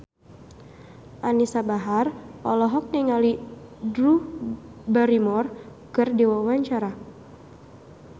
Anisa Bahar olohok ningali Drew Barrymore keur diwawancara